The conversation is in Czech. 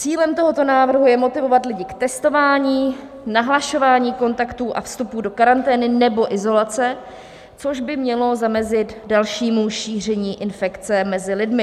Cílem tohoto návrhu je motivovat lidi k testování, nahlašování kontaktů a vstupů do karantény nebo izolace, což by mělo zamezit dalšímu šíření infekce mezi lidmi.